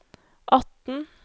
atten